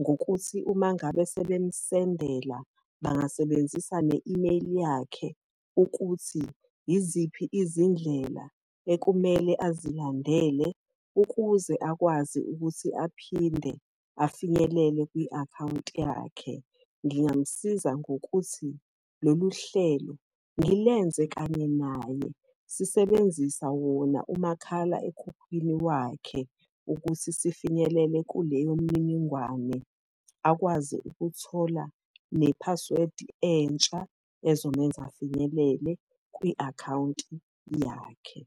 Ngokuthi uma ngabe sebemusendela, bangasebenzisa ne-imeyili yakhe, ukuthi yiziphi izindlela ekumele azilandela ukuze akwazi ukuthi aphinde afinyelele kwi-akhawunti yakhe. Ngingamusiza ngokuthi, lolu hlelo ngilenze kanye naye, sisebenzisa wona umakhala ekhukhwini wakhe ukuthi sifinyelele kuleyo mininingwane. Akwazi ukuthola ne-password entsha ezomenza afinyelele kwi-akhawunti yakhe.